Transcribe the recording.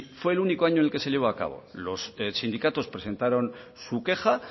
fue el único año en el que se llevó a cabo los sindicatos presentaron su queja